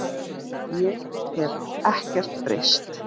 Ég hef ekkert breyst.